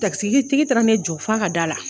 Takisitigi taara ne jɔ fo a ka da la